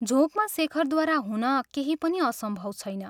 झोंकमा शेखरद्वारा हुन केही पनि असम्भव छैन।